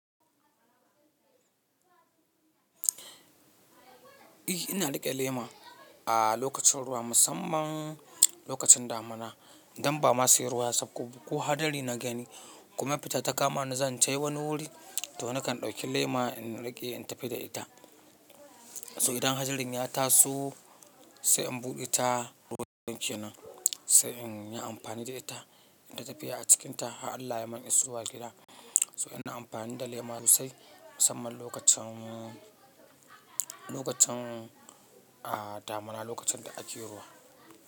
Eh ina riƙe lema a lokacin ruwa, musamman lokacin damuna don ba ma sai ruwa saukoba ko hadari na gani kuma fita ta kama ni zan tayi wani wuri to na kan dauki lema in riƙe in tafi da ita. So idan hadarin ya taso sai in buɗe ta, ruwan ke nan sai in yi amfani da ita, in tatafiya a cikinta. Allah ya mun isowa gida. So ina amfani da lema sosai musamman lokacin, lokacin a damuna, lokacin da ake ruwa.